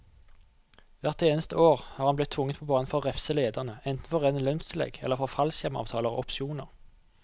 Hvert eneste år har han blitt tvunget på banen for å refse lederne, enten for rene lønnstillegg eller for fallskjermavtaler og opsjoner.